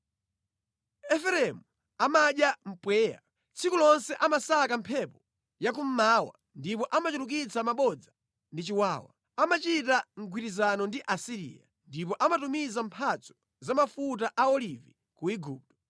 Efereimu amadya mpweya; tsiku lonse amasaka mphepo ya kummawa ndipo amachulukitsa mabodza ndi chiwawa. Amachita mgwirizano ndi Asiriya ndipo amatumiza mphatso za mafuta a olivi ku Igupto.